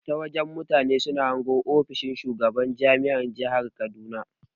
Ta waje mutane suna hango ginin ofishin shugaban jami'ar jahar kaduna.